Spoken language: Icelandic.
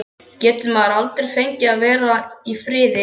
GETUR MAÐUR ALDREI FENGIÐ AÐ VERA Í FRIÐI?